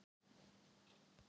eitt